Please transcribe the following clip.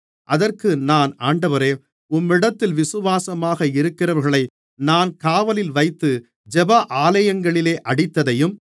அதற்கு நான் ஆண்டவரே உம்மிடத்தில் விசுவாசமாக இருக்கிறவர்களை நான் காவலில் வைத்து ஜெப ஆலயங்களிலே அடித்ததையும்